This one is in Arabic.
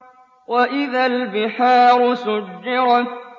وَإِذَا الْبِحَارُ سُجِّرَتْ